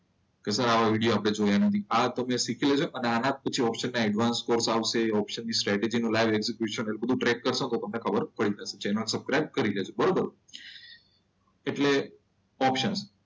કેસર આ વિડીયો આપણે જોયા નથી. આ તમે શીખવેલું છે અને આને આજ ઓપ્શન ના એડવાન્સ કોર્સ આવશે. ઓપ્શન ની સ્ટેટસ તમે ટ્રેક કરશો તો તમને ખબર પડી જશે જેને સબસ્ક્રાઇબ કરી લેજો બરોબર. એટલે ઓપ્શન.